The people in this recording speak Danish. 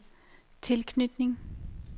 tilknytning